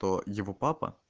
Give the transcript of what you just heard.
то его папа